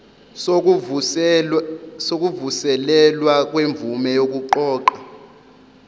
sokuvuselelwa kwemvume yokuqoqa